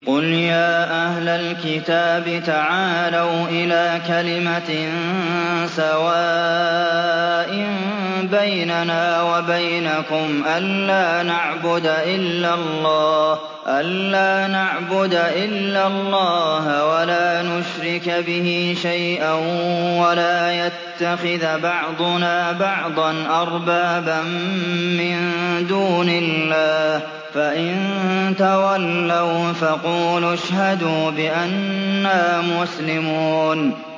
قُلْ يَا أَهْلَ الْكِتَابِ تَعَالَوْا إِلَىٰ كَلِمَةٍ سَوَاءٍ بَيْنَنَا وَبَيْنَكُمْ أَلَّا نَعْبُدَ إِلَّا اللَّهَ وَلَا نُشْرِكَ بِهِ شَيْئًا وَلَا يَتَّخِذَ بَعْضُنَا بَعْضًا أَرْبَابًا مِّن دُونِ اللَّهِ ۚ فَإِن تَوَلَّوْا فَقُولُوا اشْهَدُوا بِأَنَّا مُسْلِمُونَ